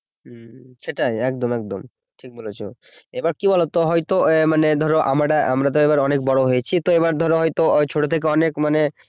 হম সেটাই একদম একদম ঠিক বলেছ এবার কি বলতো হয়তো মানে ধরো আমরা আমরা তো অনেক বড় হয়েছি তো এবার ধরতো হয়তো ছোট থেকে অনেক মানে